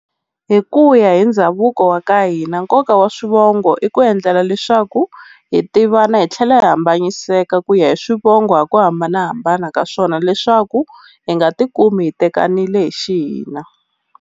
Hi ku ya hi ndhavuko wa ka hina nkoka wa swivongo i ku endlela leswaku hi tivana hi tlhela hi hambanyiseka ku ya hi swivongo hi ku hambanahambana ka swona leswaku hi nga ti kumi hi tekanile hi xihina.